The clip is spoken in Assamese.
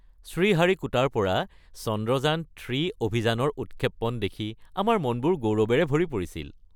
শ্ৰীহাৰিকোটাৰ পৰা চন্দ্ৰযান-৩ অভিযানৰ উৎক্ষেপণ দেখি আমাৰ মনবোৰ গৌৰৱেৰে ভৰি পৰিছিল।